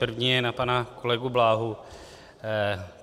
První je na pana kolegu Bláhu.